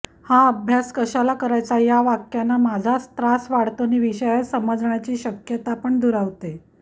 हा अभ्यास कशाला करायचा या वाक्यानं माझाच त्रास वाढतो नि विषय समजण्याची शक्यतापण दुरावते